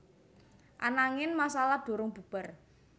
Ananging masalah durung bubar